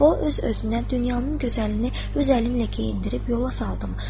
O öz özünü dünyanın gözəlini öz əlinlə geyindirib yola saldım.